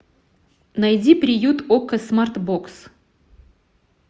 найди приют окко смарт бокс